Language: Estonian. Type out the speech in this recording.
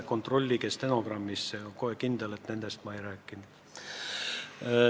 Kontrollige stenogrammist – see on päris kindel, et nendest ma ei rääkinud.